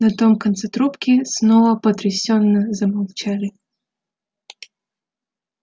на том конце трубки снова потрясённо замолчали